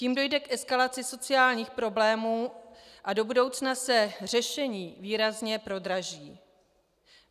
Tím dojde k eskalaci sociálních problémů a do budoucna se řešení výrazně prodraží.